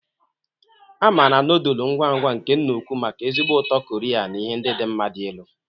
A maara nodulu ngwa ngwa nke nna ukwu maka ezigbo ụtọ Koria na ihe ndị dị mma dị elu.